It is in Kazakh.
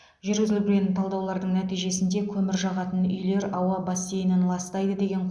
жүргізілген талдаулардың нәтижесінде көмір жағатын үйлер ауа бассейнін ластайды деген